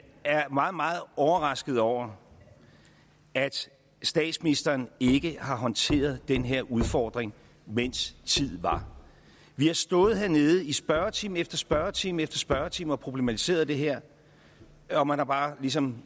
er meget meget overrasket over at statsministeren ikke har håndteret den her udfordring mens tid var vi har stået hernede i spørgetime efter spørgetime efter spørgetime og problematiseret det her og man har bare ligesom